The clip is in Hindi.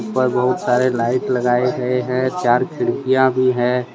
ऊपर बहुत सारे लाइट लगाएं गए हैं चार खिड़कियां भी है।